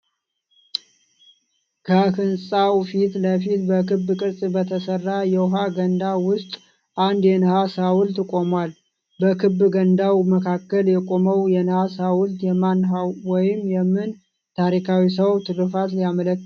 ከህንጻው ፊት ለፊት በክብ ቅርጽ በተሰራ የውሃ ገንዳ ውስጥ አንድ የነሐስ ሐውልት ቆሟል። በክብ ገንዳው መካከል የቆመው የነሐስ ሐውልት የማን ወይም ምን ታሪካዊ ሰው ትሩፋት ሊያመለክት ይችላል?